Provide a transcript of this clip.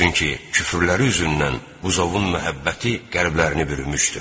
Çünki küfrləri üzündən buzovun məhəbbəti qəlblərini bürümüşdü.